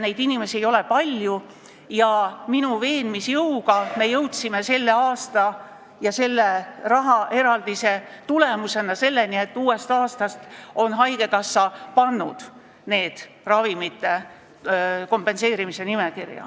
Neid inimesi ei ole palju ja minu veenmisjõu toel me jõudsime selle aasta rahaeraldise tulemusena selleni, et uuest aastast on haigekassa pannud need toidud kompenseeritavate ravimite nimekirja.